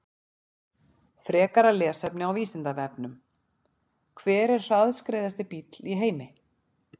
Frekara lesefni á Vísindavefnum: Hver er hraðskreiðasti bíll í heimi?